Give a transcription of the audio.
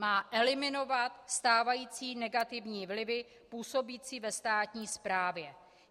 Má eliminovat stávající negativní vlivy působící ve státní správě.